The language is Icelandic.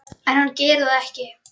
En hann gerir það ekki.